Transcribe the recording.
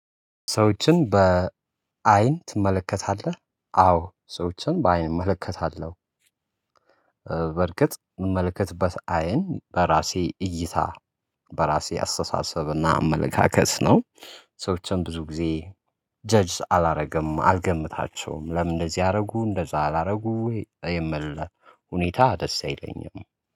ሰዎችን በዐይን ትመለከታለህ? አዎ ሰዎችን በዐይን እመለከታለሁ። በርግጥ የምመልከትበት አይን በራሴ እይታ በራሴ አስተሳሰብና አመለካከት ነው። ሰዎችን ብዙ ጊዜ ጀጅስ አላደርግም አልገምታቸውም ለምን እንደዚህ አደረጉ እንደዛ አላደረጉ ወይ የሚል ሁኔታ ደስ አይለኝም